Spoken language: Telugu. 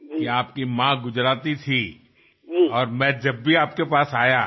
మీ తల్లిగారు గుజరాతీ అని మీరు గర్వంగా చెప్పినప్పుడల్లా నాకు ఆనందం కలుగుతుంది